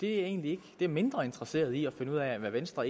er egentlig mindre interesseret i at finde ud af hvad venstre